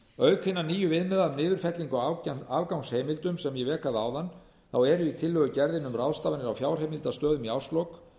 auk hinna nýju viðmiða um niðurfellingar á afgangsheimildum sem ég vék að áðan þá er í tillögugerðinni um ráðstafanir á fjárheimildastöðum í árslok